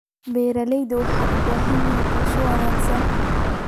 Beeraleydu waxay u baahan yihiin qorshe wanaagsan.